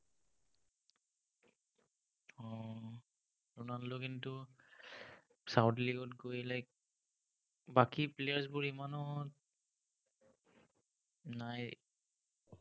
Ronaldo কিন্তু, saudi league ত গৈ বাকী players বোৰ ইমানো নাই